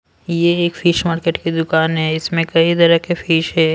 यह एक fish market की दुकान है इसमें कई तरह के फिश है।